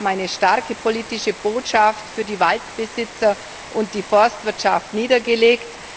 Wir haben eine starke politische Botschaft für die Waldbesitzer und die Forstwirtschaft niedergelegt.